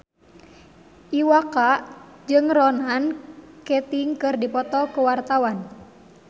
Iwa K jeung Ronan Keating keur dipoto ku wartawan